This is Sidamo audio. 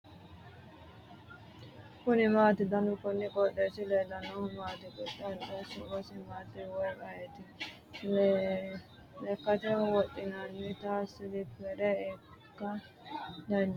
kuni maati ? danu kuni qooxeessaho leellannohu maa xawisanno su'mu maati woy ayeti ? lekkate wodhinannita siliphere ikka dandiitanno mayinni loonsoonnite ise ?